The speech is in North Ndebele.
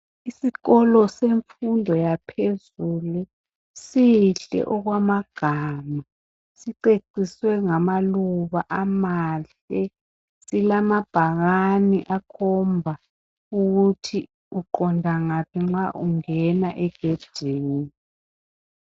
Isikolo semfundo yaphezulu sihle okwamagama siceciswe ngamaluba amahle silalabhakani akhomba ukuthi uqonda ngaphi nxa ungena egedini.